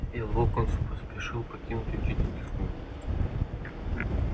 и локонс поспешил покинуть учительскую